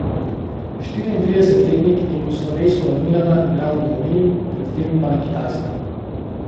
Štiriintridesetletnik je po slovesu od Milana igral v domovini, pred tem pa na Kitajskem.